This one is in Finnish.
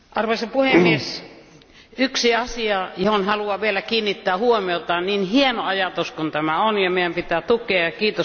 Arvoisa puhemies, on yksi asia, johon haluan vielä kiinnittää huomiota niin hieno ajatus kuin tämä onkin ja meidän pitää tukea sitä.